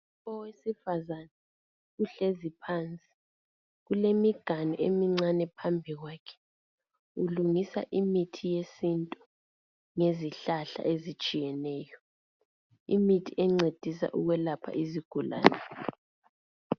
Owesifazana uhlezi phansi kulemiganu emincane phambi kwakhe ulungisa imithi yesintu ngezihlahla ezitshiyeneyo imithi encedisa ukwelapha izigulane.